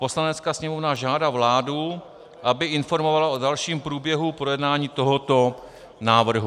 Poslanecká sněmovna žádá vládu, aby informovala o dalším průběhu projednání tohoto návrhu.